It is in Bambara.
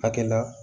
Akɛlan